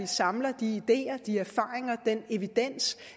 samler de ideer de erfaringer den evidens